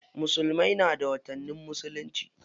Musulmai na da watannin musulunci.